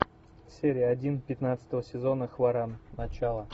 серия один пятнадцатого сезона хваран начало